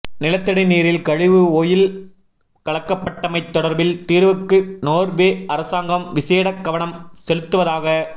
நிலத்தடி நீரில் கழிவு ஒயில் கலக்கப்பட்டமை தொடர்பில் தீர்வுக்கு நோர்வே அரசாங்கம் விசேட கவனம் செலுத்துவதாக